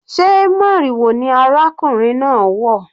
Sé moriwo ni arákùnrin náà wọ̀?